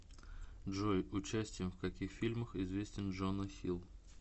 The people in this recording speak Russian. джой участием в каких фильмах известен джона хилл